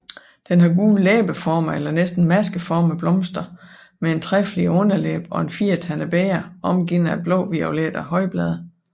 Den har gule læbeformede eller næsten maskeformede blomster med en trefliget underlæbe og et firetandet bæger omgivet af blåviolette højblade